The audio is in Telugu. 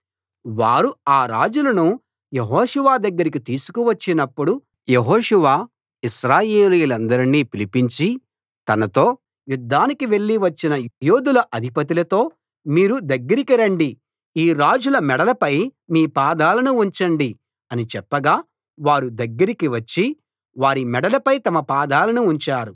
వారు ఆ రాజులను యెహోషువ దగ్గరికి తీసుకు వచ్చినప్పుడు యెహోషువ ఇశ్రాయేలీయులందరిని పిలిపించి తనతో యుద్ధానికి వెళ్లి వచ్చిన యోధుల అధిపతులతో మీరు దగ్గరికి రండి ఈ రాజుల మెడలపై మీ పాదాలను ఉంచండి అని చెప్పగా వారు దగ్గరికి వచ్చి వారి మెడలపై తమ పాదాలను ఉంచారు